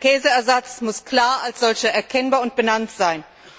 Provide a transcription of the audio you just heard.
Ein Käseersatz muss klar als solcher erkennbar und benannt sein.